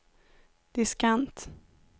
diskant